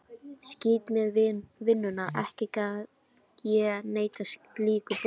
Skítt með vinnuna, ekki gat ég neitað slíku boði.